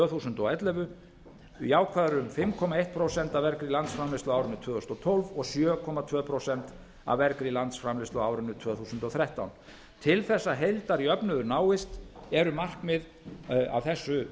þúsund og ellefu jákvæður um fimm komma eitt prósent af vergri landsframleiðslu á árinu tvö þúsund og tólf og sjö komma tvö prósent af vergri landsframleiðslu á árinu tvö þúsund og þrettán til þess að heildarjöfnuður náist eru markmið af þessu